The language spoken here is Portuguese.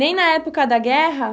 Nem na época da guerra?